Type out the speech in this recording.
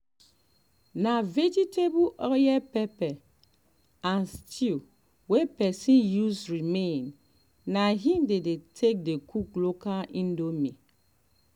na vegetable oil pepper and stew wey pesin use remain na im dey take dey cook local indomie